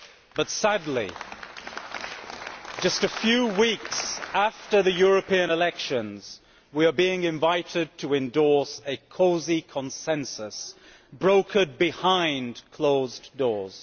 But sadly, just a few weeks after the European elections, we are being invited to endorse a cosy consensus brokered behind closed doors.